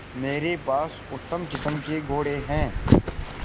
मेरे पास उत्तम किस्म के घोड़े हैं